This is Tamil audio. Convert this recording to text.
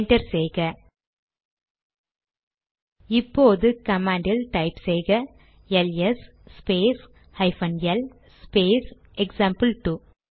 என்டர் செய்க இப்போது கமாண்ட் டைப் செய்க L S space hyphen L space எக்சாம்பிள்2